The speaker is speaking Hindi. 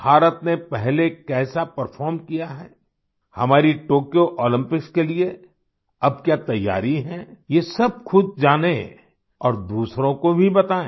भारत ने पहले कैसा परफॉर्म किया है हमारी टोक्यो ओलम्पिक्स के लिए अब क्या तैयारी है ये सब ख़ुद जानें और दूसरों को भी बताएं